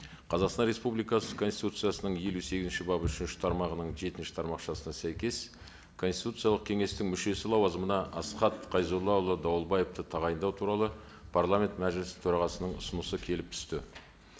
қазақстан республикасы конституциясының елу сегізінші бабы үшінші тармағының жетінші тармақшасына сәйкес конституциялық кеңестің мүшесі лауазымына асхат қайзоллаұлы дауылбаевты тағайындау туралы парламент мәжілісі төрағасының ұсынысы келіп түсті